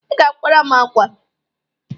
I ga akwara m akwa!